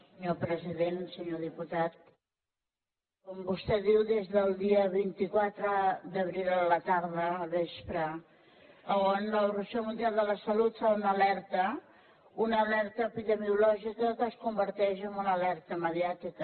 senyor diputat com vostè diu des del dia vint quatre d’abril a la tarda al vespre en què l’organització mundial de la salut fa una alerta una alerta epidemiològica que es converteix en una alerta mediàtica